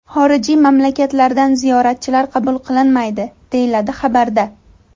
Xorijiy mamlakatlardan ziyoratchilar qabul qilinmaydi”, deyiladi xabarda.